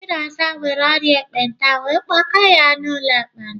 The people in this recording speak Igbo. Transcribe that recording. Chinaza nwere ọrịa ekpenta wee kpọga ya n'ụlọ ekpenta.